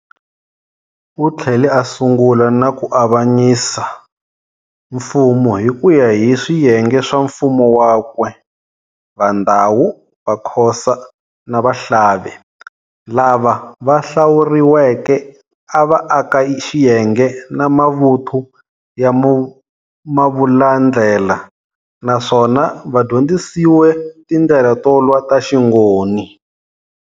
Uthlele a sungula na kuavanyisa mfumo hikuya hi swiyenge swa mfumo wakwe. VaNdawu, Vakhosa, na Vahlave lava vahlawuriweke ava aka xiyenge na mavuthu ya Mavulandlela, naswona vadyondzisiwe tindlela to lwa ta xingoni.